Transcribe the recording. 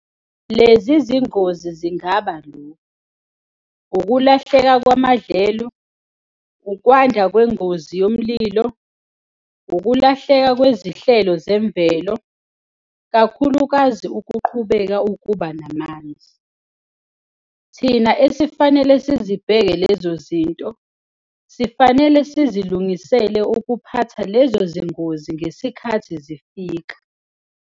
Lezi zingozi zingaba lokhu- ukulahleka kwamadlelo, ukwanda kwengozi yomlilo, ukulahleka kwezihlelo zemvelo, kakhulukazi ukuqhubeka ukuba namanzi. Thina esifanele sizibheke lezo zinto, sifanele sizilungisele ukuphatha lezo zingozi ngesikhathi zifika.